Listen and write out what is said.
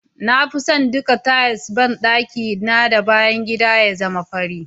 Na fi son duka tiles banɗaki na da bayan gida ya zama fari.